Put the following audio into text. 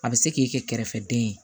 A bɛ se k'i kɛ kɛrɛfɛden ye